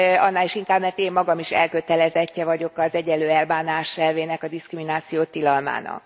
Annál is inkább, mert én magam is elkötelezettje vagyok az egyenlő elbánás elvének, a diszkrimináció tilalmának.